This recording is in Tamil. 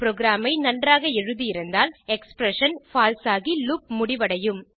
புரோகிராம் ஐ நன்றாக எழுதி இருந்தால் எக்ஸ்பிரஷன் பால்சே ஆகி லூப் முடிவடையும்